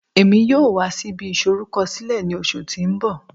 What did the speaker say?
Emi yoo wa si ibi isorukọsilẹ ni oṣu ti n bọ